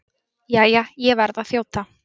Jæja, ég verð að þjóta.